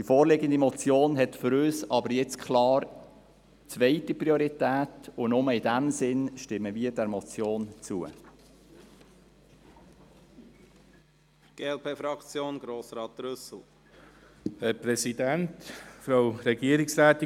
Die vorliegende Motion hat für uns klar zweite Priorität, und nur in diesem Sinn stimmen wir dieser Motion zu.